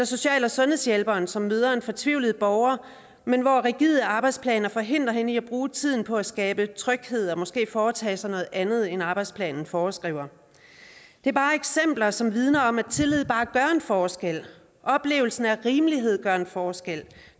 social og sundhedshjælperen som møder en fortvivlet borger men hvor rigide arbejdsplaner forhindrer hende i at bruge tiden på at skabe tryghed og måske foretage sig noget andet end arbejdsplanen foreskriver det er bare eksempler som vidner om at tillid gør en forskel at oplevelsen af rimelighed gør en forskel